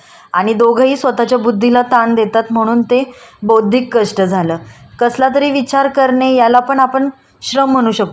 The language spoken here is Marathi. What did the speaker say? श्रम म्हणू शकतो कारण त्यात अ वैयक्तीची बौध्दिची क्षमता वापरली जाते. जे ज्या गोष्टी मध्ये आपण विचार करतो